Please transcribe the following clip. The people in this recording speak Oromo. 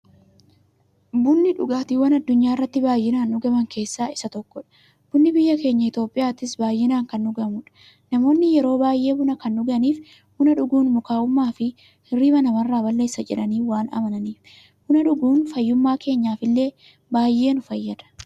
Bunni dhugaatiiwwan addunyaarratti baay'inaan dhugaman keessaa isa tokkodha. Bunni biyya keenya Itiyoophiyaattis baay'inaan kan dhugamuudha. Namoonni yeroo baay'ee buna kan dhuganiif, buna dhuguun mukaa'ummaafi hirriiba namarraa balleessa jedhanii waan amananiifi. Buna dhuguun fayyummaa keenyaf illee baay'ee nu fayyada.